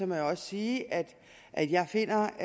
må jeg også sige at at jeg finder